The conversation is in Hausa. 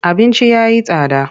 Abinci ya yi tsada.